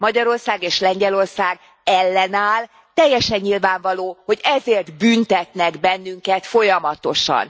Magyarország és Lengyelország ellenáll, teljesen nyilvánvaló, hogy ezért büntetnek bennünket folyamatosan.